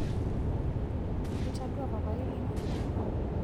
itadua papailino